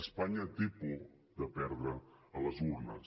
espanya té por de perdre a les urnes